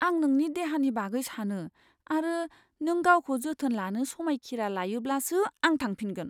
आं नोंनि देहानि बागै सानो आरो नों गावखौ जोथोन लानो समायखिरा लायोब्लासो आं थांफिनगोन।